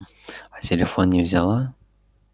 а телефон не взяла